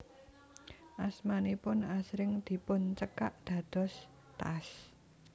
Asmanipun asring dipuncekak dados T A S